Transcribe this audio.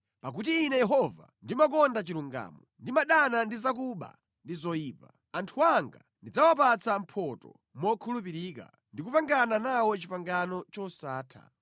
“Pakuti Ine Yehova, ndimakonda chilungamo; ndimadana ndi zakuba ndi zoyipa. Anthu anga ndidzawapatsa mphotho mokhulupirika ndikupangana nawo pangano losatha.